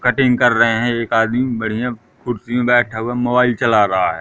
Cutting कर रहे हैं एक आदमी बढ़िया कुर्सी में बैठा हुआ मोबाइल चला रहा है।